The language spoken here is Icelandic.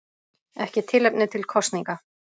Ekki tilefni til kosninga